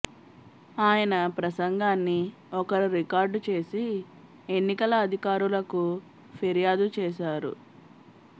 ఆయన ప్రసంగాన్ని ఒకరు రికార్డు చేసి ఎన్నికల అధికారులకు ఫిర్యాదు చేశారు